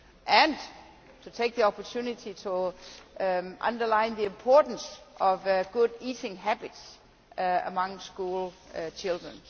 and to take the opportunity to underline the importance of good eating habits among school children.